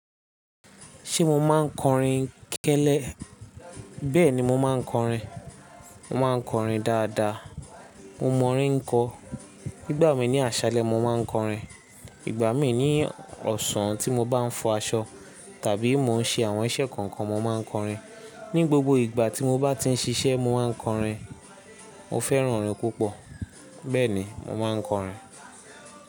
Ṣé mo máa ń kọrin kẹ́lẹ́? Bẹ́ẹ̀ni mo máa ń kọrin. Mo máa ń kọrin dáadáa. Mo mọ̀ orin ń kọ. Nígbà mí ní àṣálẹ́ mo máa ń kọrin. Ìgbà mí ní ọ̀sán tí mo bá ń fọ aṣọ tàbí mo ń ṣe àwọn iṣẹ́ kankan mo máa ń kọrin. Ni gbogbo ìgbà tí mo bá ti ń ṣiṣẹ́ mo máa ń kọrin. Mo fẹ́ràn orin púpọ̀, bẹ́ẹ̀ni mo máa ń kọrin.